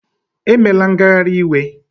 Emela ngagharị iwe!